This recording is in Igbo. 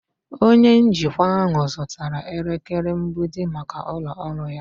Onye njikwa ahụ zụtara elekere mgbidi maka ụlọ ọrụ ya.